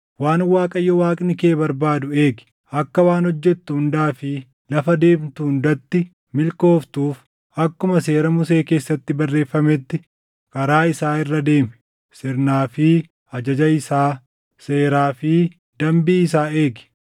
waan Waaqayyo Waaqni kee barbaadu eegi; akka waan hojjettu hundaa fi lafa deemtu hundatti milkooftuuf akkuma seera Musee keessatti barreeffametti karaa isaa irra deemi; sirnaa fi ajaja isaa, seeraa fi dambii isaa eegi;